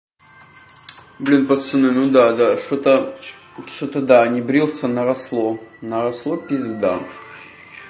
блин пацаны ну да да что-то что-то да не брился наросло наросло пизда